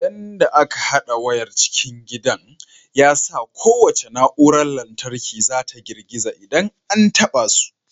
Yanda aka hada wayar cikin gidan ya sa kowace na'urar lantarki ta girgiza idan an taɓa su.